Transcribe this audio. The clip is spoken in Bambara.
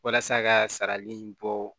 Walasa ka sarali in bɔ